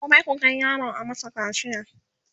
gobe ku Kai yaron a masa kacia!